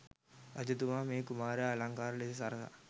රජතුමා මේ කුමරා අලංකාර ලෙස සරසා